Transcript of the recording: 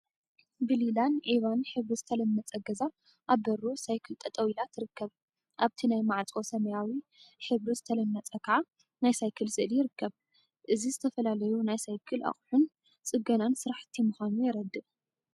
ብሊላን ዒባን ሕብሪ ዝተለመፀ ገዛ አብ በሩ ሳይክል ጠጠው ኢላ ትርከብ። አብቲ ናይ ማዕፆ ሰማያዊ ሕብሪ ዝተለመፀ ከዓ ናይ ሳይክል ስእሊ ይርከብ። እዚ ዝተፈላለዩ ናይ ሳይክል አቁሑን ፅገናን ስራሕቲ ምኳኑ የረድእ።